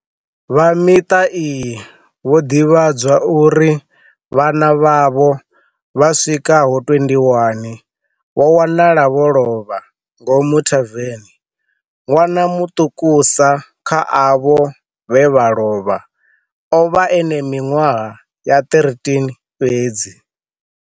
Vha miṱa iyi vho ḓivhadzwa uri vhana vhavho vha swikaho 21 vho wanala vho lovha, ngomu thaveni. Ṅwana muṱukusa kha avho vhe vha lovha o vha e na miṅwaha ya 13 fhedzi.